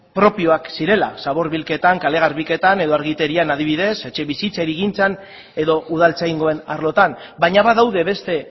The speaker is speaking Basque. propioak zirela zabor bilketan kale garbiketan edo argiterian adibidez etxebizitza hirigintzan edo udaltzaingoen arlotan baina badaude beste